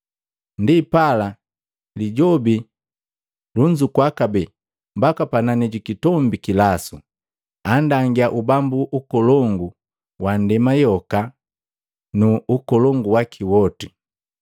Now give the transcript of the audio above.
Ndipala, Lijobi anzukua kabee mbaka panani ji kitombi kilasu, andangia ubambu ukolongu wa ndema yoka na nu ukolongu waki woti.